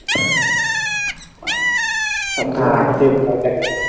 সব ধরনের .